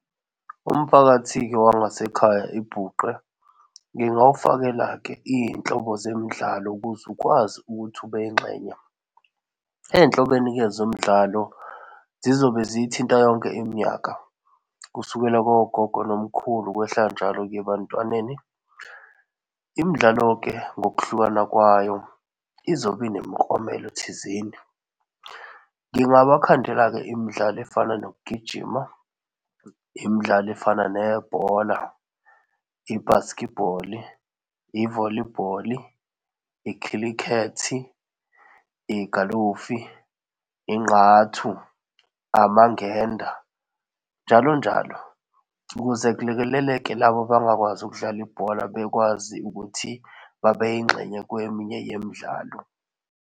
Umphakathi-ke wangasekhaya ibhuqe. Ngingawufakela-ke izinhlobo zemidlalo, ukuze ukwazi ukuthi ube yingxenye. Ezinhloboeni-ke zomdlalo, zizobe zithinta yonke iminyaka, kusukela kogogo nomkhulu kwehla njalo kuye ebantwaneni. Imidlalo-ke ngokuhlukana kwayo izobe inemiklomelo thizeni. Ngingaba khandela-ke imidlalo efana nokugijima, imidlalo efana nebhola i-basketball, i-volleyball, ikhilikethi, igalofu, ingqathu, amangenda njalonjalo, ukuze kulekeleleke labo abangakwazi ukudlala ibhola, bekwazi ukuthi babe yingxenye kweminye yemidlalo.